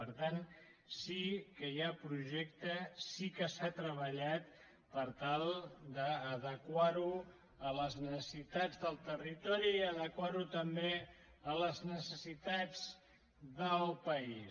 per tant sí que hi ha projecte sí que s’ha treballat per tal d’adequar lo a les necessitats del territori i adequar lo també a les necessitats del país